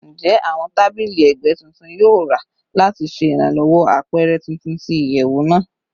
Njẹ awọn tabili ẹgbẹ tuntun yoo ra lati ṣe iranlowo apẹrẹ tuntun ti iyẹwu naa?